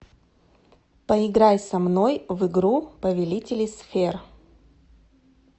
поиграй со мной в игру повелители сфер